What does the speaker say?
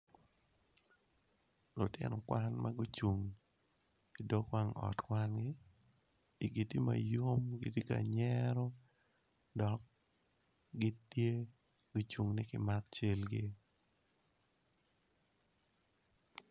Lutino kwan magucung i dog wang ot kwangi igi tye ma yom gitye ka nyero dok gitye ka cungo ni kimak calgi.